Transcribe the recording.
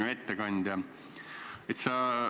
Hea ettekandja!